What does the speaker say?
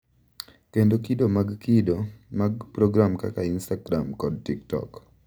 Kendo kido mag kido mag program kaka Instagram kod TikTok,